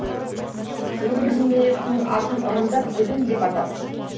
ол бір немересінің атын ырымдап төлен деп атапты